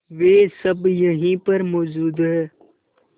वे सब यहीं पर मौजूद है